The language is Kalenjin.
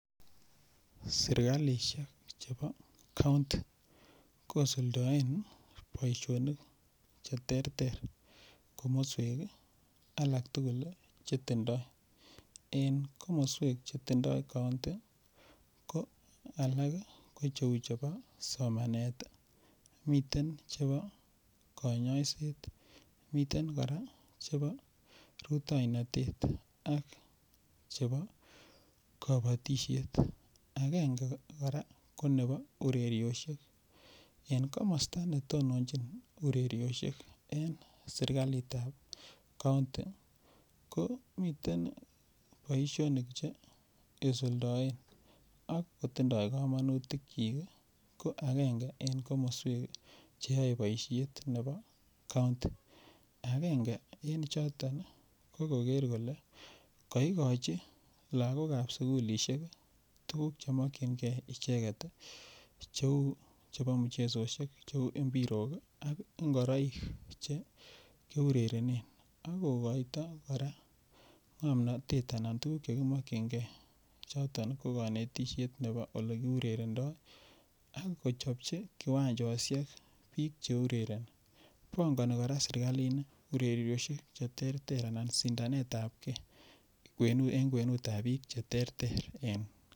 Serkalisiek chebo kaunti kosuldaen boisionik Che terter komoswek alak tugul Che tindoi en komoswek Che tindoi kaunti ko alak ko cheu chebo somanet miten chebo kanyaiset miten kora chebo rutoinotet ak chebo kabatisiet agenge kora ko nebo ureriosiek en komosta nebo netononji ureriosiek en serkalit ab kaunti komiten boisionik Che isuldoen ak kotindoi kamanutikyik ko agenge en komoswek Che yoe boisiet nebo kaunti agenge en choton ko koker kole kaigochi lagok ab sugulisiek tuguk Che mokyingei icheget cheu chebo muchesosiek kou mpirok ak ngoroik Che kiurerenen ak kogoito kora ngomnatet anan tuguk Che kimakyinge kou konetisiet nebo Ole kiurerenendo ak kochopchi kiwanjosiek bik Che urereni pangoni kora serkalini urereyosiek anan sindanet ab ge en kwenut ab bik Che terter en kaunti